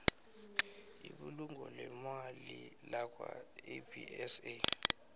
ibulungo leemali lakwaabsa